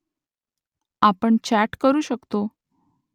आपण चॅट करू शकतो